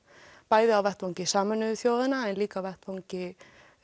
bæði á vettvangi Sameinuðu þjóðanna en líka á vettvangi